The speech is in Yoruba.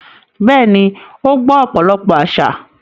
Bẹ́ẹ̀ni, ó gbọ́ ọ̀pọ̀lọpọ̀ àsà.